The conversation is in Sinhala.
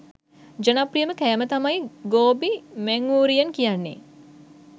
ජනප්‍රියම කෑම තමයි ගෝබි මැංඌරියන් කියන්නෙ.